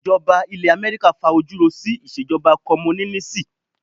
Ìjọba ilẹ̀ Amẹ́ríkà fa ojú ro sí ìṣèjọba Kọ́múnínísì.